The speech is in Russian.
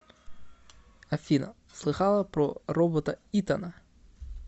афина слыхала про робота итана